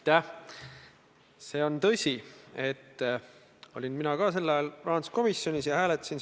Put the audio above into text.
Teie küsimus oli, et kas mina plaanin öelda Riigikantseleile, et pange kõik.